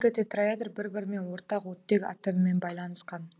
бұл екі тетраэдр бір бірімен ортақ оттек атомымен байланысқан